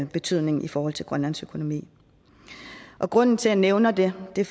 betydning i forhold til grønlands økonomi grunden til at jeg nævner det er at det